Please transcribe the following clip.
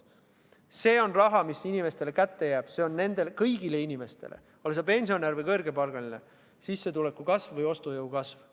See on raha, mis jääb inimestele kätte, see on kõigi inimeste puhul – ole sa pensionär või kõrgepalgaline – ostujõu kasv.